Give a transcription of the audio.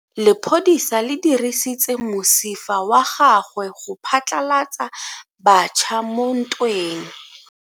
Lepodisa le dirisitse mosifa wa gagwe go phatlalatsa batšha mo ntweng.